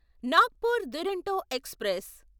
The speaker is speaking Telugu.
నాగ్పూర్ దురోంటో ఎక్స్ప్రెస్